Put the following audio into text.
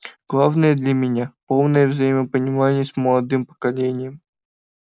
главное для меня полное взаимопонимание с молодым поколением